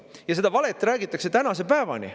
Ja seda valet räägitakse tänase päevani.